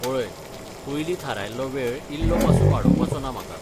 पळय, पयलीं थारायल्लो वेळ इल्लो पासून वाडोवपाचो ना म्हाका.